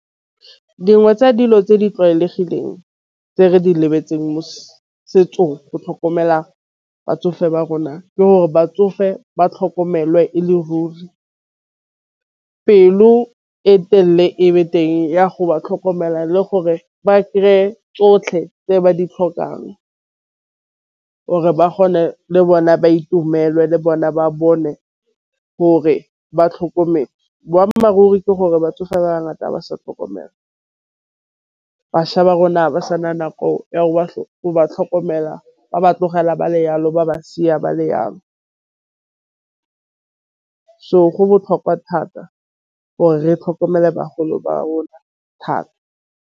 Dingwe tsa dilo tse di tlwaelegileng tse re di lebeletseng mo setsong go tlhokomela batsofe ba rona. Ke gore batsofe ba tlhokomelwe ruri pelo e telele ebe teng ya go ba tlhokomela le gore ba kry-e tsotlhe tse ba ditlhokang, or-e ba kgone le bone ba itumelwe le bona ba bone gore ba tlhokomele. Boammaaruri ke gore batsofe ba ngata ba sa tlhokomelwa bašwa ba rona ga ba sana nako ya go tlhokomela ba tlogela ba le yalo ba ba seka ba le yalo. So, go botlhokwa thata or re tlhokomele bagolo ba rona thata.